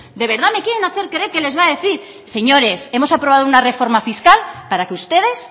de verdad me quieren hacer creer que les va a decir señores hemos aprobado una reforma fiscal para que ustedes